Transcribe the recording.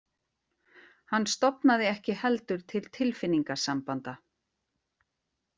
Hann stofnaði ekki heldur til tilfinningasambanda.